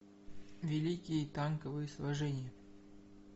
великие танковые сражения